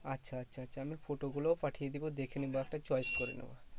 আচ্ছা আচ্ছা আচ্ছা আমি photo গুলোও পাঠিয়ে দেব দেখে নিবা একটা choice করে নেবে।